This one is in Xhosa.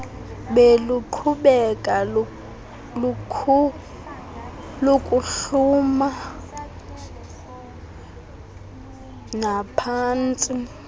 beluqhubeka nokuhluma luphantsi